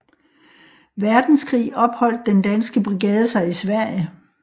Verdenskrig opholdt Den Danske Brigade sig i Sverige